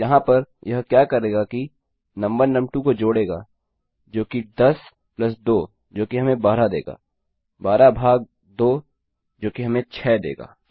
तो यहाँ पर यह क्या करेगा कि नुम1 नुम2 को जोड़ेगा जो कि 10 धन 2 जो कि हमें 12 देगा 12 भाग 2 जो कि हमें 6 देगा